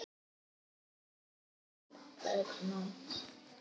Er Sveinn hérna?